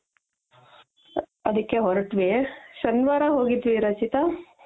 ಅದಿಕ್ಕೆ ಹೊರಟ್ವಿ, ಶನಿವಾರ ಹೋಗಿದ್ವಿ ರಚಿತ